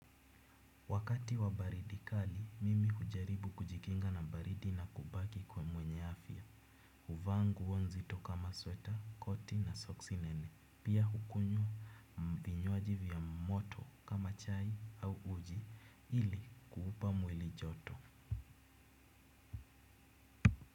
Wakati wa baridi kali, mimi hujaribu kujikinga na baridi na kubaki kuwa mwenye afya. Huvaa nguo nzito kama sweta, koti na soksi nene. Pia hukunywa vinywaji vya moto kama chai au uji ili kuupa mwili joto.